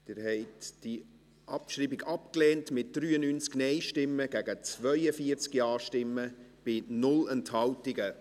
Sie haben die Abschreibung abgelehnt, mit 93 Nein- zu 42 Ja-Stimmen bei 0 Enthaltungen.